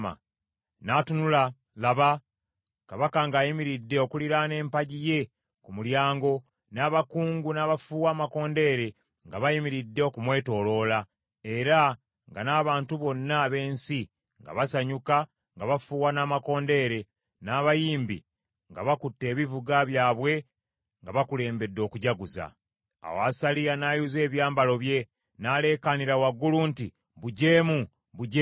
N’atunula, laba, kabaka ng’ayimiridde okuliraana empagi ye ku mulyango, n’abakungu n’abafuuwa amakondeere nga bayimiridde okumwetooloola, era nga n’abantu bonna ab’ensi nga basanyuka nga bafuuwa n’amakondeere, n’abayimbi nga bakutte ebivuga byabwe nga bakulembedde okujaguza. Awo Asaliya n’ayuza ebyambalo bye, n’aleekaanira waggulu nti, “Bujeemu! Bujeemu!”